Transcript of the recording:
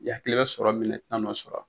I yakili be sɔrɔ min na i ti na n'o sɔrɔ a la